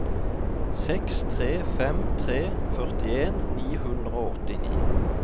seks tre fem tre førtien ni hundre og åttini